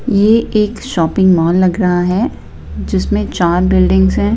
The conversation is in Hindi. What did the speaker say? ये एक शॉपिंग मॉल लग रहा है जिसमें चार बिल्डिंग्स हैं।